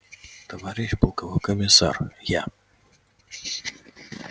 товарищ полковой комиссар я